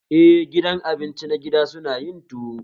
Eh, gidan abinci na gida suna yin tuwo